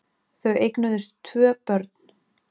Þau eignuðust tvö börn.